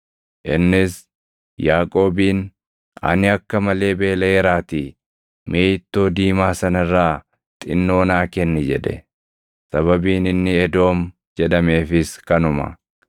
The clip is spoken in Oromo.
Innis Yaaqoobiin, “Ani akka malee beelaʼeeraatii, mee ittoo diimaa sana irraa xinnoo naa kenni!” jedhe. Sababiin inni Edoom jedhameefis kanuma.